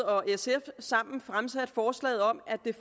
og sf sammen fremsat forslaget om at